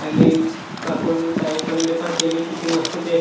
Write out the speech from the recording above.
आणि काकु न ताई पण त्यानी पहा किती मस्त ते--